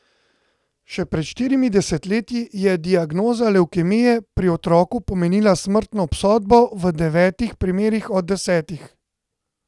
Še pred štirimi desetletji je diagnoza levkemije pri otroku pomenila smrtno obsodbo v devetih primerih od desetih.